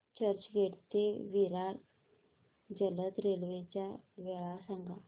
चर्चगेट ते विरार जलद रेल्वे च्या वेळा सांगा